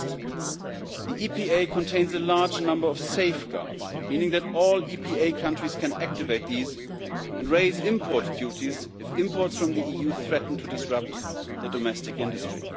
First, the EPA contains a large number of safeguards, meaning that all EPA countries can activate these and raise import duties if imports from the EU threaten to disrupt the domestic industry.